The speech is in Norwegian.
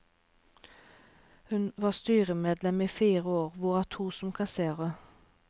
Hun var styremedlem i fire år, hvorav to år som kasserer.